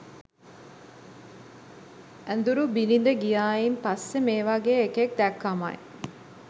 ඇදුරු බිරිඳ ගියායින් පස්සෙ මේ වගේ එකෙක් දැක්කමයි.